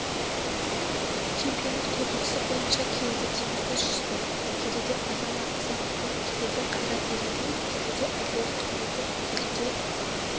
чемпионат қорытындысы бойынша келіде теміртас жүсіпов келіде азамат исақұлов келіде қайрат ералиев келіде әділет құрметов келіде